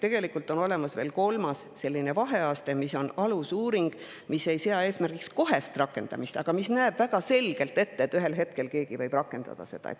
Tegelikult on olemas veel kolmas, selline vaheaste: alusuuring, mis ei sea eesmärgiks kohest rakendamist, aga näeb väga selgelt ette, et ühel hetkel keegi võib seda rakendada.